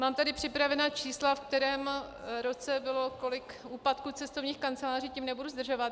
Mám tady připravená čísla, ve kterém roce bylo kolik úpadků cestovních kanceláří, tím nebudu zdržovat.